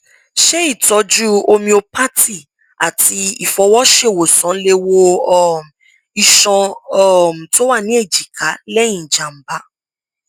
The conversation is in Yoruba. ṣé ìtọjú homeopathy àti ìfọwọṣèwòsàn lè wo um iṣan um tó wà ní èjìká lẹyìn ìjàmbá